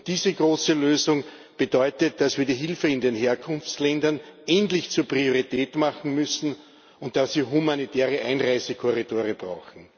Diese große Lösung bedeutet, dass wir die Hilfe in den Herkunftsländern endlich zur Priorität machen müssen und dass wir humanitäre Einreisekorridore brauchen.